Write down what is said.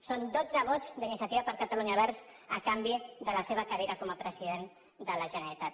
són dotze vots d’iniciativa per catalunya verds a canvi de la seva cadira com a president de la generalitat